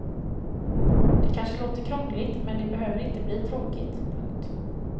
Det kanske låter krångligt men det behöver inte bli tråkigt. punkt